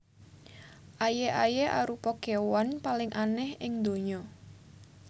Aye aye arupa kewan paling aneh ing ndonya